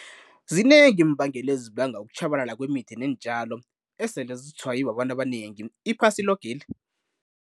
Zinengi iimbangela ezibanga ukutjhabalala kwemithi neentjalo esele zitshwaye babantu abanengi iphasi loke leli.